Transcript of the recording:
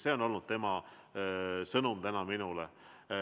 Selline oli tema sõnum täna minule.